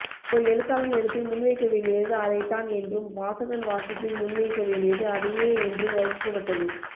ஓர் எழுத்தாளன் எழுத்தில் முன்வைக்கவேண்டியது அதைத்தான் என்றும் வாசகன் வாசிப்பில் முன்வைக்கவேண்டியது அதையே என்றும் வகுக்கப்பட்டது